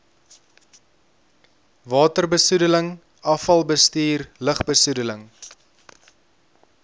waterbesoedeling afvalbestuur lugbesoedeling